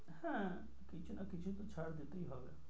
হ্যাঁ কিছু না কিছু তো ছাড় দিতেই হবে।